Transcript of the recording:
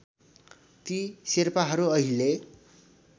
ती शेर्पाहरू अहिले